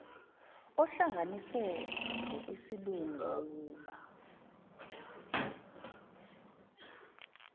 ohlanganiswe ngokwesilungu wawuba